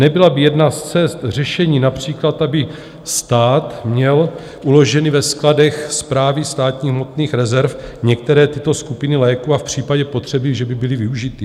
Nebyla by jedna z cest řešení například, aby stát měl uloženy ve skladech Správy státních hmotných rezerv některé tyto skupiny léků a v případě potřeby že by byly využity?